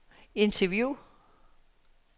interview